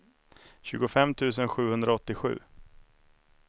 tjugofem tusen sjuhundraåttiosju